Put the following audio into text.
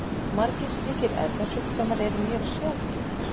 Margir slíkir erfðasjúkdómar eru mjög sjaldgæfir.